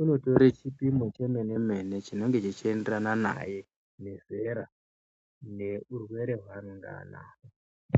inotora chipimo chemene mene kuti zvingebzvichienderana naye nezera.